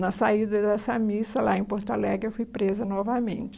Na saída dessa missa, lá em Porto Alegre, eu fui presa novamente.